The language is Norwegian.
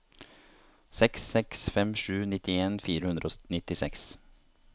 seks seks fem sju nittien fire hundre og nittiseks